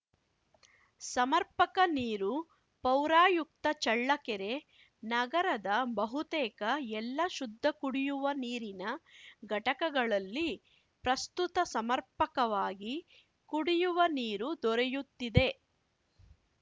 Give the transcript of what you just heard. ಸಮರ್ಪಕ ನೀರು ಪೌರಾಯುಕ್ತ ಚಳ್ಳಕೆರೆ ನಗರದ ಬಹುತೇಕ ಎಲ್ಲ ಶುದ್ಧ ಕುಡಿಯುವ ನೀರಿನ ಘಟಕಗಳಲ್ಲಿ ಪ್ರಸ್ತುತ ಸಮರ್ಪಕವಾಗಿ ಕುಡಿಯುವ ನೀರು ದೊರೆಯುತ್ತಿದೆ